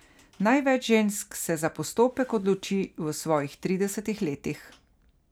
Največ žensk se za postopek odloči v svojih tridesetih letih.